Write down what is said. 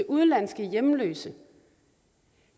udenlandsk hjemløs